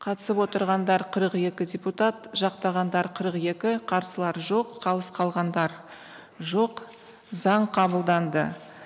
қатысып отырғандар қырық екі депутат жақтағандар қырық екі қарсылар жоқ қалыс қалғандар жоқ заң қабылданды